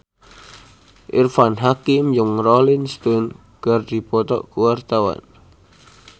Irfan Hakim jeung Rolling Stone keur dipoto ku wartawan